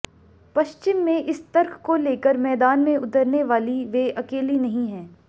पश्चिम में इस तर्क को लेकर मैदान में उतरने वाली वे अकेली नहीं हैं